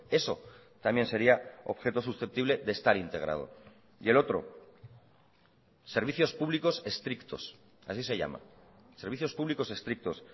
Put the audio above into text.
eso también sería objeto susceptible de estar integrado y el otro servicios públicos estrictos así se llama servicios públicos estrictos